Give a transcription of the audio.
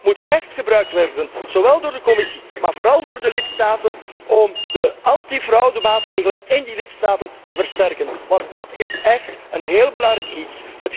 Dit geld moet echt gebruikt worden, zowel door de Commissie, maar vooral door de lidstaten om de anti fraudemaatregelen in de lidstaten te versterken. Dat is echt een heel belangrijk iets.